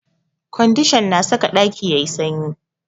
Ƙwandishan na saka ƙaki yayi sanyi